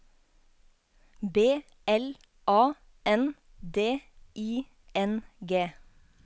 B L A N D I N G